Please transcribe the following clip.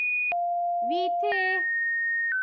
Víti!